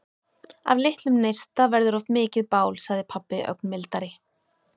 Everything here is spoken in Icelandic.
Af litlum neista verður oft mikið bál, sagði pabbi ögn mildari.